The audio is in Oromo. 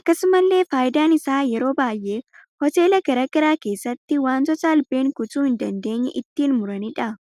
Akkasumallee faayidaan isaa yeroo baay'ee hoteela garagaraa keessatti wantoota Albeen kutuu hin dandeenye ittin muranidha.